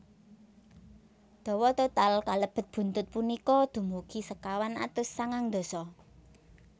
Dawa total kalebet buntut punika dumugi sekawan atus sangang dasa